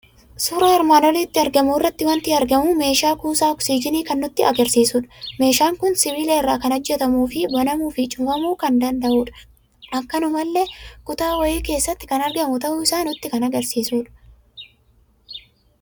Suuraa armaan olitti argamu irraa waanti argamu; meeshaa kuusaa oksijiinii kan nutti agarsiisudha. Meeshaan kun sibiila irra kan hojjetamuufi banamuufi cufamuu kan danda'udha; akkanumallee kuta wahii keessatti kan argamu ta'uusaa nutti kan agarsiisudha.